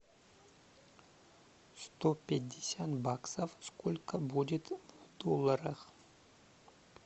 сто пятьдесят баксов сколько будет в долларах